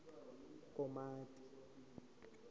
komati